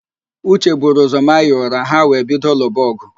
Uche buru ụzọ maa ya ụra, ha wee bido lụba ọgụ